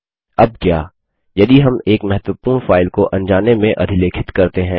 अब क्या यदि हम एक महत्वपूर्ण फाइल को अनजाने में अधिलेखित करते हैं